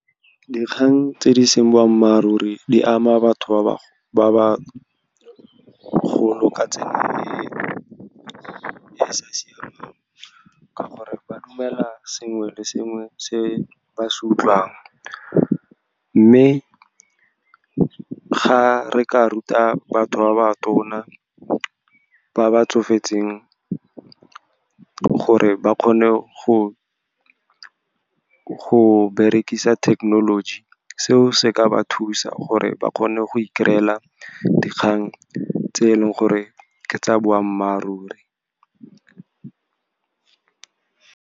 Dikgang tse di seng boammaaruri di ama batho ba ba golo ka tsela e e sa siamang, ka gore ba dumela sengwe le sengwe se ba se utlwang. Mme ga re ka ruta batho ba ba tona, ba ba tsofetseng, gore ba kgone go berekisa thekenoloji, seo se ka ba thusa gore ba kgone go i-kry-ela dikgang tse e leng gore ke tsa boammaaruri.